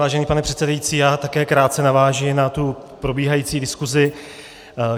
Vážený pane předsedající, já také krátce navážu na tu probíhající diskusi.